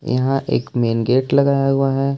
यहां एक main gate लगाया हुआ है।